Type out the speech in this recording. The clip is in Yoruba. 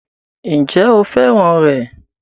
Ǹjẹ́ o fẹ́ràn rẹ̀?